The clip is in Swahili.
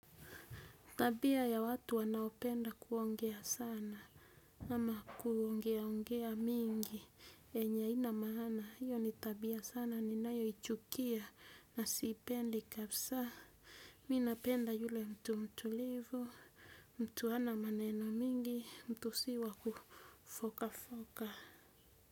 Tabia ya watu wanaopenda kuongea sana, ama kuongeaongea mingi, yenye haina maana, hiyo ni tabia sana, ninayoichukia, nasiipendi kabisa, mi napenda yule mtu mtulivu, mtu hana maneno mingi, mtu sii wa kufoka foka.